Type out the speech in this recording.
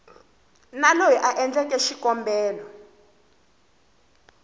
na loyi a endleke xikombelo